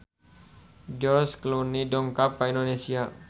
George Clooney dongkap ka Indonesia